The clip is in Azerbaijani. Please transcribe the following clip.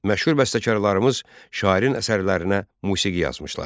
Məşhur bəstəkarlarımız şairin əsərlərinə musiqi yazmışlar.